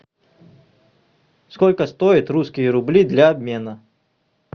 сколько стоят русские рубли для обмена